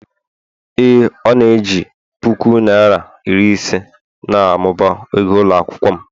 Ee Ọ na-eji puku naịra iri ise na-amụba ego ụlọ akwụkwọ m